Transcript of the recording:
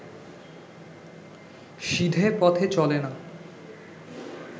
সিধে পথে চলে না